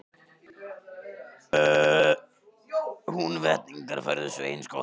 Húnvetningar færðu Svein skotta til þings.